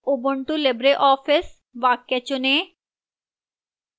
ubuntu libreoffice वाक्य चुनें